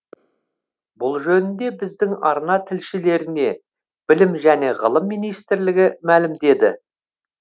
бұл жөнінде біздің арна тілшілеріне білім және ғылым министрлігі мәлімдеді